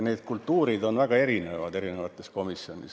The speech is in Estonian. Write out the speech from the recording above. See kultuur on eri komisjonides väga erinev.